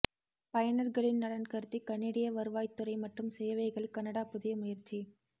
பயனர்களின் நலன் கருதி கனேடிய வருவாய்த்துறை மற்றும் சேவைகள் கனடா புதிய முயற்சி